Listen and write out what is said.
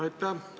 Aitäh!